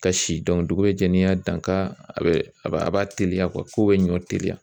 Ka si dɔn dugu bɛ jɛ n'i y'a dan ka a bɛ a b'a a b'a teliya k'u bɛ ɲɔ teliya.